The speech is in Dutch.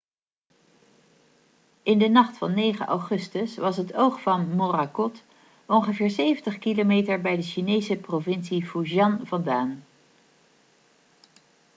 in de nacht van 9 augustus was het oog van morakot ongeveer 70 km bij de chinese provincie fujian vandaan